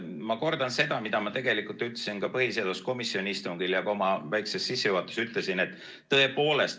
Ma kordan seda, mida ma ütlesin ka põhiseaduskomisjoni istungil ja siin oma väikeses sissejuhatuses.